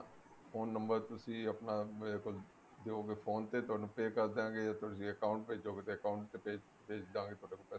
phone number ਤੁਸੀਂ ਆਪਣਾ ਮੇਰੇ ਕੋਲ ਦਿਓਗੇ phone ਤੇ ਤੁਹਾਨੂੰ pay ਕਰ ਦਾਂਗੇ ਤੁਸੀਂ account ਭੇਜੋਗੇ ਤਾਂ account ਚ ਭੇਜ ਦਾਂਗੇ ਤੁਹਾਡੇ ਕੋਲ ਪੈਸੇ